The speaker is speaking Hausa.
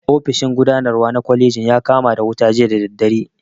Ofishin gudanarwa na kwalejin ya kama da wuta jiya da dare